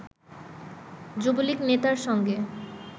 যুবলীগ নেতার সঙ্গে